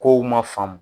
Kow ma faamu